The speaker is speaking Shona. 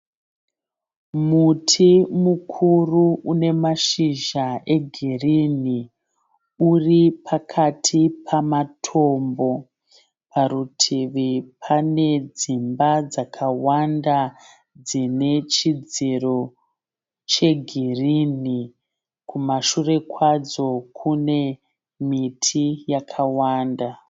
Muti mukuru une mashizha egirinhi uri pakati pamatombo. Parutivi pane dzimba dzakawanda dzine chidziro chegirinhi. Kumashure kwadzo kune miti yakawanda.